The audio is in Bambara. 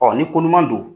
ni ko ɲuman don